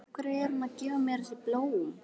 Af hverju er hún að gefa mér þessi blóm?